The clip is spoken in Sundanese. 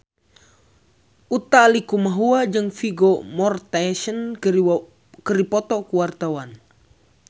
Utha Likumahua jeung Vigo Mortensen keur dipoto ku wartawan